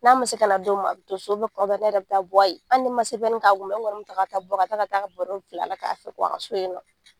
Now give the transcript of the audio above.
N'a man se ka na don min a bɛ to so kuma dɔ ne yɛrɛ bɛ taa bɔ a ye hali ni n man CPN k'a kun n kɔni n bɛ taa ka taa bɔ ka taa baro bil'a la k'a a ka so ye nɔ.